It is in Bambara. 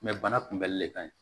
bana kunbɛli le ka ɲi